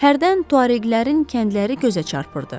Hərdən tuareglərin kəndləri gözə çarpırdı.